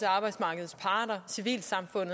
arbejder på at